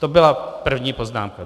To byla první poznámka.